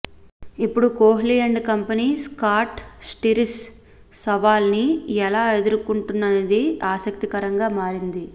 ఇప్పుడు Kohli and company Scott Styris సవాల్ ని ఎలా ఎదుర్కొంటుందనేది ఆసక్తికరంగా మారింది